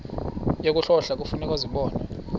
yokuhlola kufuneka zibonwe